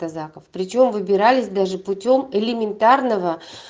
причём выбирались даже путём элементарного